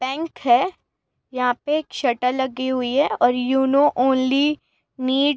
पैंक है। यहां पे एक शट लगी हुई है और यूनो ओन्ली नीड़ --